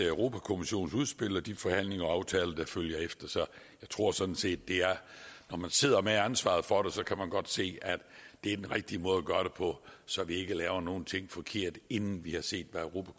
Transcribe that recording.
europa kommissionens udspil og de forhandlinger og aftaler der følger efter jeg tror sådan set det er sådan at når man sidder med ansvaret for det kan man godt se at det er den rigtige måde at gøre det på så vi ikke laver noget forkert inden vi har set